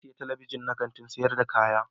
Na siya Telebijin na Kantin sayar da kaya.